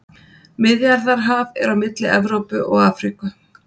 Miðjarðarhaf er á milli Evrópu og Afríku.